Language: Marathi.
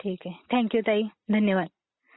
ठीक आहे. थॅंक यु ताई, धन्यवाद.